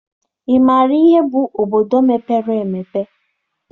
Ị maara ihe bụ obodo mepere emepe?